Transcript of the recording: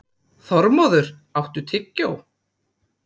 Þormóður, áttu tyggjó?